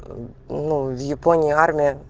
ну в японии армия